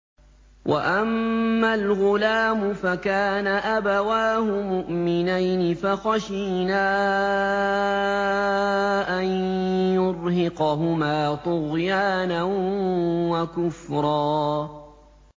وَأَمَّا الْغُلَامُ فَكَانَ أَبَوَاهُ مُؤْمِنَيْنِ فَخَشِينَا أَن يُرْهِقَهُمَا طُغْيَانًا وَكُفْرًا